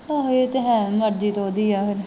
ਆਹੋ ਇਹ ਤੇ ਹੈ ਮਰਜ਼ੀ ਤੇ ਓਹਦੀ ਆ ਫੇਰ।